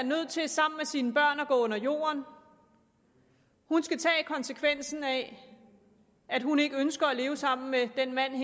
nødt til sammen med sine børn at gå under jorden hun skal tage konsekvensen af at hun ikke ønsker at leve sammen med den mand